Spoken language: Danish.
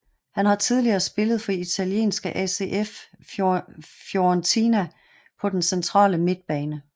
Han har tidligere spillet for italienske ACF Fiorentina på den centrale midtbane